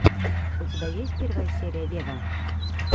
у тебя есть первая серия вево